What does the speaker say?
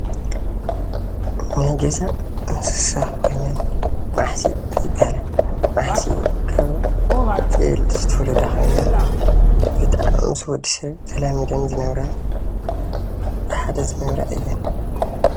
ናይ ገዛ እንስሳ ኾይነን ማሕሲእ ይበሃላ ።ማሕሲእ ካብ ጤል ዝተወለዳ ኾይነን ብጣዕሚ ምስ ወድሰብ ተላሚደን ዝነብራ ብሓደ ዝነብራ እየን።